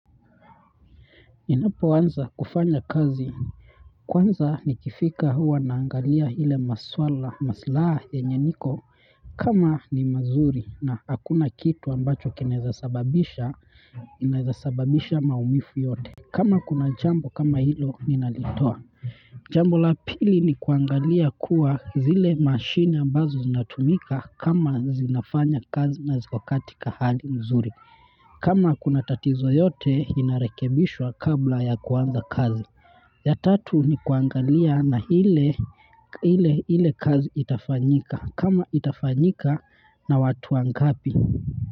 Nilipo anza kufanya kazi kwanza nikifika huwa naangalia ile maswala maslai yenye niko kama ni mazuri na hakuna kitu ambacho kinaeza sababisha inaeza sababisha maumivu yote. Kama kuna jambo kama hilo ninalitoa. Jambo la pili ni kuangalia kuwa zile mashini ambazo zinatumika kama zinafanya kazi na ziko katika hali mzuri. Kama kuna tatizo yote inarekebishwa kabla ya kuanza kazi. Ya tatu, ni kuangalia na hile kazi itafanyika, kama itafanyika na watu wangapi.